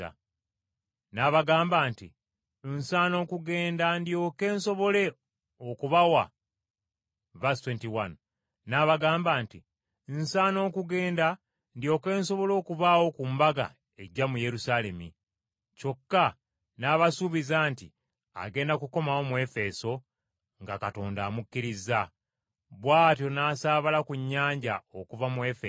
N’abagamba nti, “Nsaana okugenda ndyoke nsobole okubaawo ku mbaga ejja mu Yerusaalemi.” Kyokka n’abasuubiza nti agenda kukomawo mu Efeso nga Katonda amukkirizza. Bw’atyo n’asaabala ku nnyanja okuva mu Efeso.